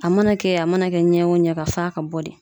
A mana kɛ a mana kɛ ɲɛ o ɲɛ ka f'a ka bɔ de